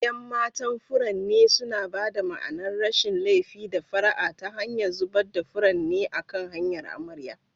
Yan matan furanni suna ba da ma'anar rashin laifi da fara'a ta hanyar zubar da furanni a kan hanyar amarya.